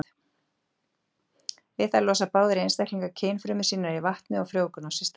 Við það losa báðir einstaklingar kynfrumur sínar í vatnið og frjóvgun á sér stað.